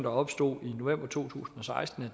opstod i november to tusind og seksten